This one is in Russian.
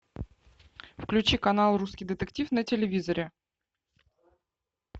включи канал русский детектив на телевизоре